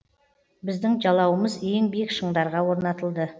біздің жалауымыз ең биік шыңдарға орнатылды